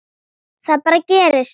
Það bara gerist.